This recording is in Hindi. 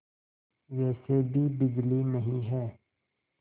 वैसे भी बिजली नहीं है